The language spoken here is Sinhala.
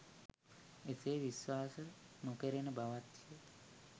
එසේ විශ්වාස නොකෙරෙන බවත්ය.